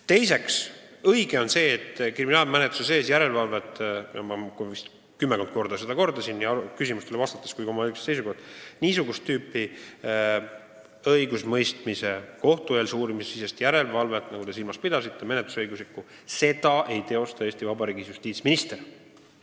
Teiseks, on õige, et kriminaalmenetluse aegset järelevalvet – ma vist kümme korda kordasin seda nii küsimustele vastates kui ka oma eelmises kõnes –, niisugust kohtueelse uurimise aegset menetlusõiguslikku järelevalvet, nagu te silmas pidasite, ei teosta Eesti Vabariigis justiitsminister.